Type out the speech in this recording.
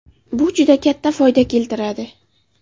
Bu juda katta foyda keltiradi.